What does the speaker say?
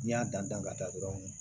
N'i y'a dan dan ka taa dɔrɔn